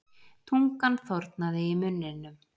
Tungan þornaði í munninum.